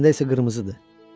Əslində isə qırmızıdır.